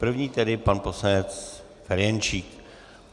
První tedy pan poslanec Ferjenčík.